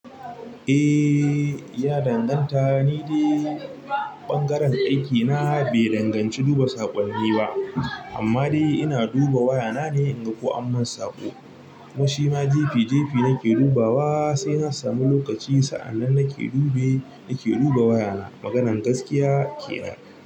Eh ya danganta, ni dai ɓangaren aiki na bai danganci duba saƙonni ba amma dai ina duba waya na ne in ga ko an man saƙo. Ko shima jefi jefi nake dubawa sai an samu lokaci sa'anan nake dube, nake duba waya na. Maganar gaskiya kenan.